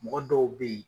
Mɔgɔ dɔw bɛ yen